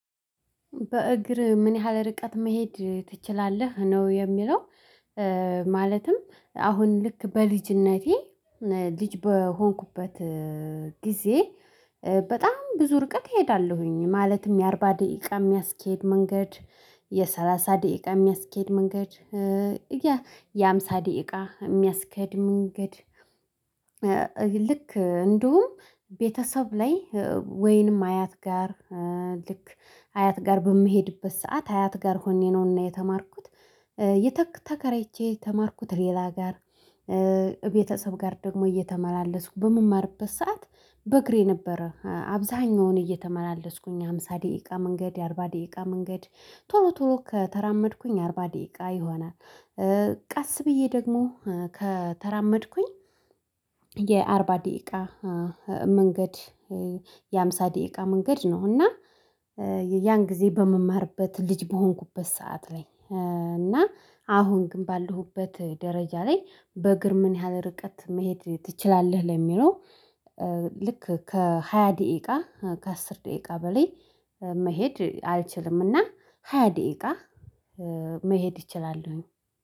በእግር ምን ያህል ርቀት መሄድ ትችላለህ ነው የሚለው? ማለትም አሁን ልክ በልጅነቴ ልጅ በሆንኩበት ጊዜ በጣም ብዙ ርቀት እሄዳለሁኝ ማለትም የአርባ ደቂቃ የሚያስኬድ መንገድ የሰላሳ ደቂቃ የሚያስኬድ መንገድ የሃምሳ ደቂቃ የሚያስከድ መንገድ ልክ እንደውም ቤተሰብ ላይ ወይንም አያት ጋር ልክ አያት ጋር በምሄድበት ሰዓት አያት ጋር ሆኜ ነውና የተማርኩት። ተከራይቼ የተማርኩት ሌላ አገር። ቤተሰብ ጋር ደግሞ እየተመላለስኩ በምማርበት ሰዓት በእግሬ ነበረ አብዛኛውን እየተመላለስኩኝ የሃምሳ ደቂቃ መንገድ የአርባ ደቂቃ መንገድ ቶሎ ቶሎ ከተራመድኩኝ አርባ ደቂቃ ይሆናል። ቀስ ብዬ ደግሞ ከተራመድኩኝ የአርባ ደቂቃ መንገድ የሃምሳ ደቂቃ መንገድ ነው። እና ያን ጊዜ በምማርበት ልጅ በሆንኩበት ሰዓት ላይ እና አሁን ግን ባለሁበት ደረጃ ላይ በግር ምን ያህል ርቀት መሄድ ትችላለህ ለሚለው? ልክ ከሃያ ደቂቃ ከአስር ደቂቃ በላይ መሄድ አልችልምና ሃያ ደቂቃ መሄድ ይችላለሁኝ